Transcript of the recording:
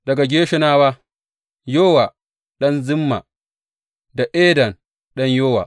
Daga Gershonawa, Yowa ɗan Zimma da Eden ɗan Yowa.